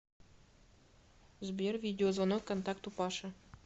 сбер видеозвонок контакту паша